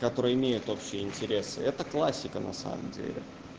которые имеют общие интересы это классика на самом деле